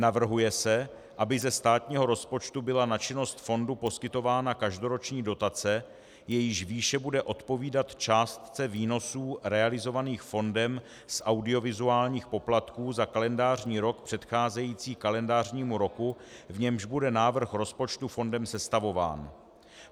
Navrhuje se, aby ze státního rozpočtu byla na činnost fondu poskytována každoroční dotace, jejíž výše bude odpovídat částce výnosů realizovaných fondem z audiovizuálních poplatků za kalendářní rok předcházející kalendářnímu roku, v němž bude návrh rozpočtu fondem sestavován.